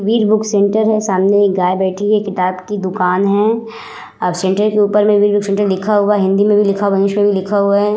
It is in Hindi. बीज बुक सेंटर है। सामने एक गाय बैठी हुई है। किताब की दुकान है। सेंटर के ऊपर सेंटर लिखा हुआ है। हिन्दी मे भी लिखा हुआ है। इंग्लिश भी लिखा हुआ है।